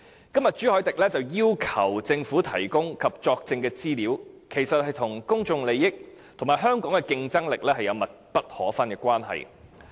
今天朱凱廸議員要求政府提供及作證的資料，其實與公眾利益及香港的競爭力有密不可分的關係。